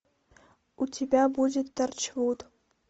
у тебя будет торчвуд